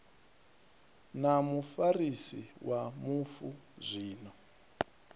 na mufarisi wa mufu zwino